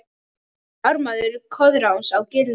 Ármaður Koðráns á Giljá